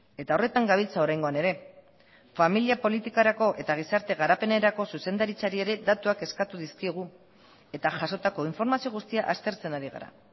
eta horretan gabiltza oraingoan ere familia politikarako eta gizarte garapenerako zuzendaritzari ere datuak eskatu dizkiegu eta jasotako informazio guztia aztertzen ari gara